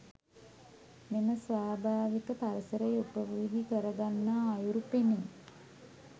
මෙම ස්වාභාවික පරිසරය උපයෝගී කරගන්නා අයුරු පෙනේ.